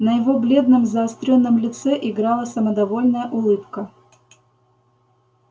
на его бледном заострённом лице играла самодовольная улыбка